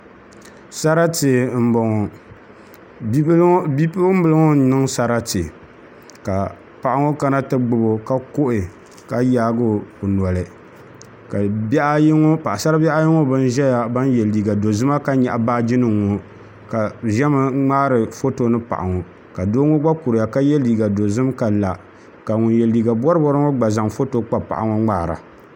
Sarati n boŋo Bipuɣunbili ŋo n niŋ sarati ka paɣa ŋo kana ti gbubo ka kuhi ka yaagi o noli ka paɣasaribihi ayi ŋo bin ʒɛya ban yɛ liiga dozima ka nyaɣa baaji nim ŋo ka bi ʒɛmi n ŋmaari foto ni paɣa ŋo ka doo ŋo gba kuriya ka yɛ liiga dozim ka la ka ŋun yɛ liiga boribori ŋo gba zaŋ foto ŋo kpa paɣa ŋo ka ŋmaara